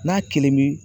N'a kelen bi